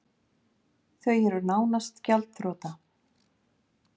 Þau eru nánast gjaldþrota